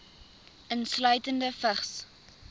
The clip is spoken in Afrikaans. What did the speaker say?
insluitende vigs